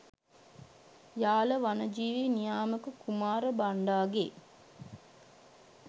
යාල වනජීවි නියාමක කුමාර බණ්ඩාගේ